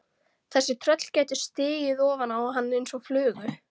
Þetta tröll gæti stigið ofan á hann eins og flugu.